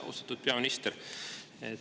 Austatud peaminister!